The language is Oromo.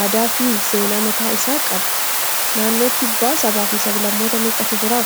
aadaa fi seenaa mataa isaa qaba. Naannoo kibbaa sababa fi sab-lammoota meeqatu jiraa?